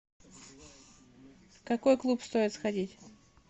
в какой клуб стоит сходить